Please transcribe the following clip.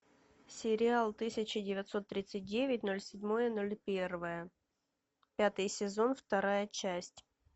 сериал тысяча девятьсот тридцать девять ноль седьмое ноль первое пятый сезон вторая часть